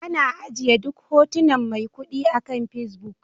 Ana ajiye duk hotunan maikudi akan Facebook